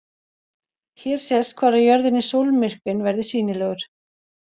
Hér sést hvar á jörðinni sólmyrkvinn verður sýnilegur.